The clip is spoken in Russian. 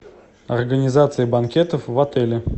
организация банкетов в отеле